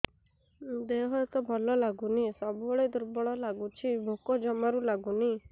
ଦେହ ହାତ ଭଲ ଲାଗୁନି ସବୁବେଳେ ଦୁର୍ବଳ ଲାଗୁଛି ଭୋକ ଜମାରୁ ଲାଗୁନି